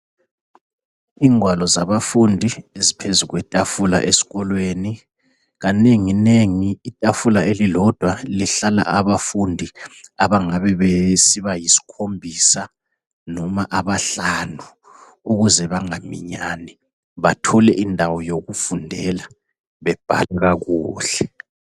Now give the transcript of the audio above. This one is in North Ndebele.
Ingwalo zabafundi ziphezu kwetafula esikolweni. Kanenginengi itafula elilodwa lihlala abafundi abangabe bengaba besiba yiskhombisa noma abahlanu ukuze bangaminyani bathole indawo yokufundela bebhalela kakuhle.